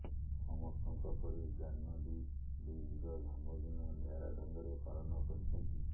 ସମସ୍ତଙ୍କ ପରି ଜାହ୍ନବୀ ବି ନିଜ ଜନ୍ମଦିନ ନିଆରା ଢଙ୍ଗରେ ପାଳନ କରିଛନ୍ତି